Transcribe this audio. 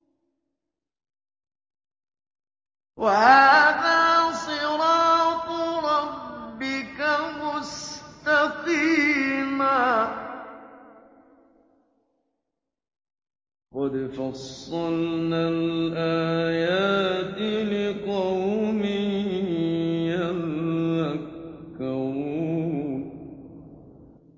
وَهَٰذَا صِرَاطُ رَبِّكَ مُسْتَقِيمًا ۗ قَدْ فَصَّلْنَا الْآيَاتِ لِقَوْمٍ يَذَّكَّرُونَ